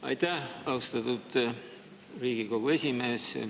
Aitäh, austatud Riigikogu esimees!